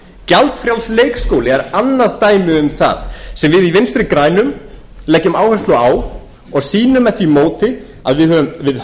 gjaldfrjáls leikskóli er annað dæmi um það sem við í vinstri grænum leggjum áherslu á og sýnum með því móti að við